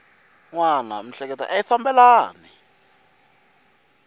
wana miehleketo a yi fambelani